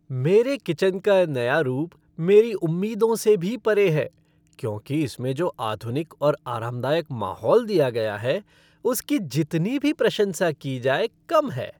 मेरे किचन का नया रूप मेरी उम्मीदों से भी परे है क्योंकि इसमें जो आधुनिक और आरामदायक माहौल दिया गया है उसकी जितनी भी प्रशंसा की जाए कम है।